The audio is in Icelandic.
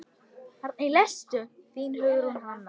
Þín, Hugrún Hanna.